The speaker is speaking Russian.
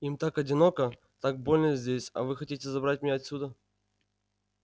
им так одиноко так больно здесь а вы хотите забрать меня отсюда